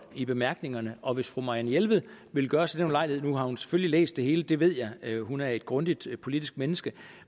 i bemærkningerne og hvis fru marianne jelved vil gøre sig den ulejlighed nu har hun selvfølgelig læst det hele det ved jeg da hun er et grundigt politisk menneske